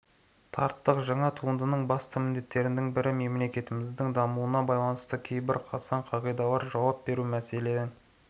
тарттық жаңа туындының басты міндеттерінің бірі мемлекетіміздің дамуына байланысты кейбір қасаң қағидаларға жауап беру мәселен